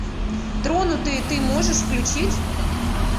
тронутые ты можешь включить